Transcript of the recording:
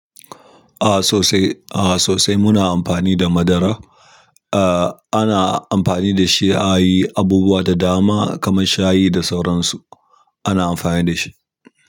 A sosai, a sosai muna amfani da madara. Ah ana amfani da shi a yi abubuwa da dama kamar shayi da sauransu ana amfani da shi.